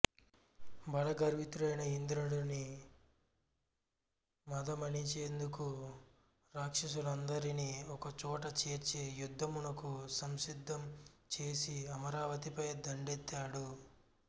బలగర్వితుడై ఇంద్రుని మదమణిచేందుకు రాక్షసులనందరినీ ఒకచోటచేర్చి యుద్ధమునకు సంసిద్ధం చేసి అమరావతిపై దండెత్తాడు